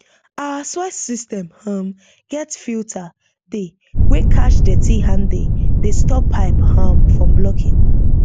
our water system um get filter dey wey catch dirty ande dey stop pipe um from blocking